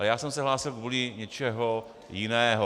Ale já jsem se hlásil kvůli něčemu jinému.